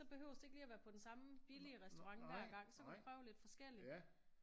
Så behøves det ikke lige at være på den samme billige restaurant hver gang så kan du prøve lidt forskelligt